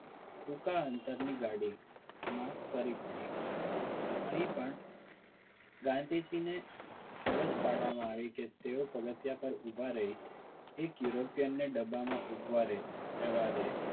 ટૂંકા અંતરની ગાડી માં કરવી પડી અહીં પણ ગાંધીજીની ફરજ પાડવામાં આવી કે તેઓ પગથિયા પર ઊભા રહી એક european ને ડભામાં ઊભા રહે રહેવા દે